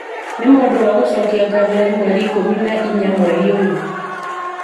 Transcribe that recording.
nĩ ma ũndũ wa gũcokia ngatho nĩ mweri ikũmi na inya mweri ũyũ